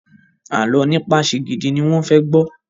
Àlọ nípa Shigidi ní wón fè gbó